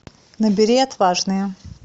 набери отважные